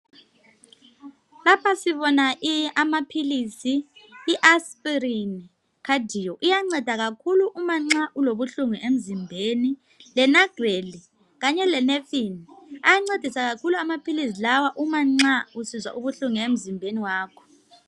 Lapha sibona amaphilizi iasprin cadio. Iyanceda kakhulu uma nxa ulobuhlungu emzimbeni lenagrel kanye lenepin ayancedisa kakhulu amaphilizi lawa umanxa usizwa ubuhlungu emzimbeni wakho.